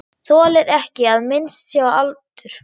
Þolir ekki að minnst sé á aldur.